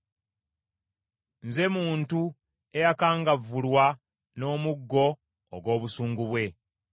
Nze muntu eyakangavvulwa n’omuggo ogw’obusungu bwe.